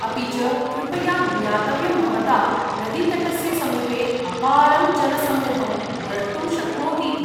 अपि च, कृपया ज्ञातव्यं भवता, नदीतटस्य समीपे अपारं जनसमूहं द्रष्टुं शक्नोतीति।